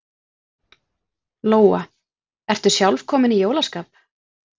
Lóa: Ertu sjálf komin í jólaskap?